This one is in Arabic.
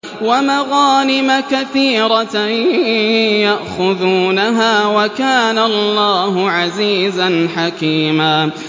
وَمَغَانِمَ كَثِيرَةً يَأْخُذُونَهَا ۗ وَكَانَ اللَّهُ عَزِيزًا حَكِيمًا